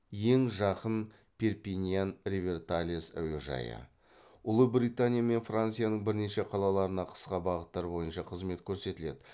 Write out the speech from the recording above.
ең жақын перпиньян риверталез әуежайы ұлыбритания мен францияның бірнеше қалаларына қысқа бағыттар бойынша қызмет көрсетеді